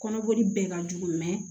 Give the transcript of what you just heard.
Kɔnɔboli bɛ ka jugu